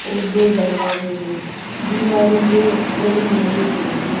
और दो दरवाजे हैं दीवारों पर फ्रेम लगे हुए हैं।